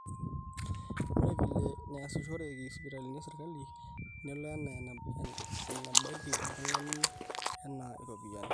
ore vile neasishoreki sipitalini esirkali nelo enaa enebaiki oltung'ani enaa iropiyiani